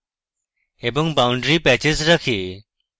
এবং boundary patches রাখে